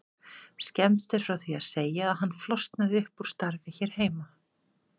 Skemmst er frá því að segja að hann flosnaði upp úr starfi hér heima.